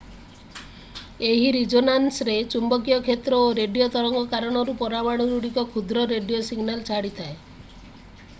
ଏହି ରିଜୋନାନ୍ସରେ ଚୁମ୍ବକୀୟ କ୍ଷେତ୍ର ଓ ରେଡିଓ ତରଙ୍ଗ କାରଣରୁ ପରମାଣୁଗୁଡ଼ିକ କ୍ଷୁଦ୍ର ରେଡିଓ ସିଗ୍ନାଲ ଛାଡ଼ିଥାଏ